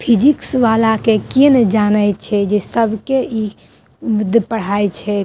Physics वाला के केए नै जाना छै जे सबके इ उ पढ़ाय छै।